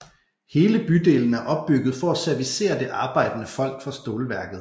Hele bydelen er opbygget for at servicere det arbejdende folk fra stålværket